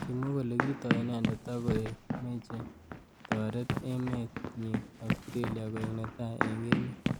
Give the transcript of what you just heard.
Kimwa kole kitoi inendet akoek meche kotoret emet nyi Australia koek netai eng emet.